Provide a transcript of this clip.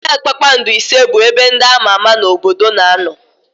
Họtelụ kpakpando ise bụ ebe ndị ama ama n'obodo na-anọ.